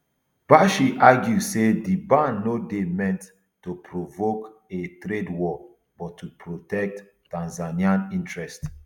bashe argue say di ban no dey meant to provoke a trade war but to protect tanzania interests